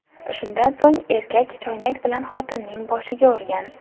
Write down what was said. Shundan so‘ng erkak choynak bilan xotinning boshiga urgan.